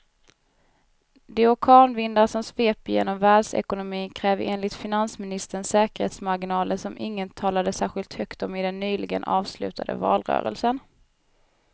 De orkanvindar som sveper genom världsekonomin kräver enligt finansministern säkerhetsmarginaler som ingen talade särskilt högt om i den nyligen avslutade valrörelsen.